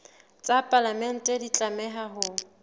tsa palamente di tlameha ho